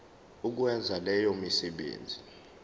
ukwenza leyo misebenzi